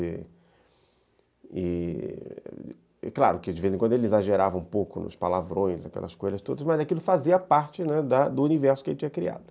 E, claro, que de vez em quando ele exagerava um pouco nos palavrões, aquelas coisas todas, mas aquilo fazia parte, né, do universo que ele tinha criado.